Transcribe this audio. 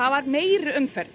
var meiri umferð